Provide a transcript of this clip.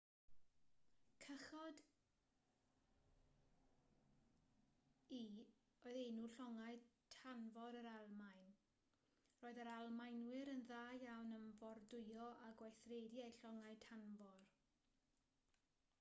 cychod-u oedd enw llongau tanfor yr almaen roedd yr almaenwyr yn dda iawn am fordwyo a gweithredu eu llongau tanfor